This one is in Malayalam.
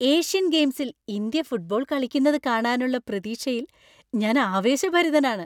ഏഷ്യൻ ഗെയിംസിൽ ഇന്ത്യ ഫുട്ബോൾ കളിക്കുന്നത് കാണാനുള്ള പ്രതീക്ഷയിൽ ഞാൻ ആവേശഭരിതനാണ്.